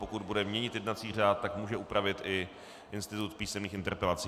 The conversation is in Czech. Pokud bude měnit jednací řád, tak může upravit i institut písemných interpelací.